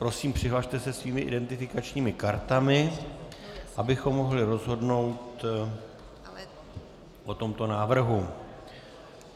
Prosím, přihlaste se svými identifikačními kartami, abychom mohli rozhodnout o tomto návrhu.